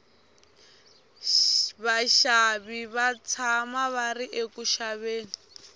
vaxavi va tshama va ri eku xaveni